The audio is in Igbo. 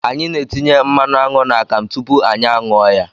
Anyị na-etinye mmanụ aṅụ n'akamụ tupu anyị a ṅụọ ya.